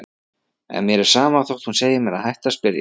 En mér er sama þótt hún segi mér að hætta að spyrja.